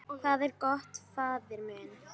Hvað er gott, faðir minn?